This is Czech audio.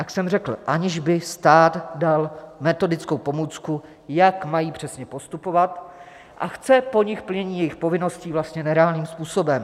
Jak jsem řekl, aniž by stát dal metodickou pomůcku, jak mají přesně postupovat, a chce po nich plnění jejich povinností vlastně nereálným způsobem.